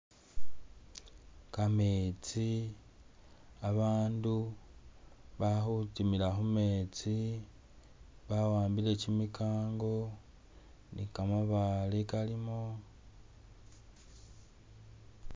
Kameetsi, abaandu, ba khu timila khu meetsi, bawambile kimikango ni kamabale kalimo.